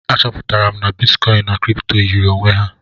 A chọpụtara m na bitkọin na kripto yiri onwe ha.